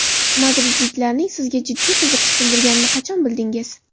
Madridliklarning sizga jiddiy qiziqish bildirganini qachon bildingiz?